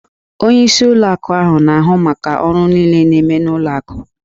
Onyeisi ụlọ akụ na-ahụ maka ọrụ niile na-eme n'ụlọ akụ